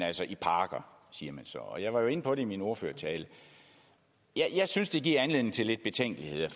altså i parker siger man så og jeg var jo inde på det i min ordførertale og jeg synes det giver anledning til lidt betænkeligheder